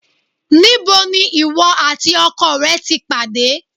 Níbo ni ìwọ àti ọkọ rẹ ti pàdé?